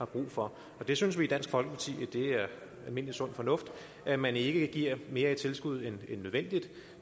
brug for vi synes i dansk folkeparti at det er almindelig sund fornuft at man ikke giver mere i tilskud end nødvendigt